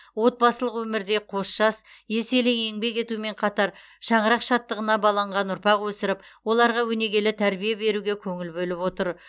отбасылық өмірде қос жас еселі еңбек етумен қатар шаңырақ шаттығына баланған ұрпақ өсіріп оларға өнегелі тәрбие беруге көңіл бөліп отыр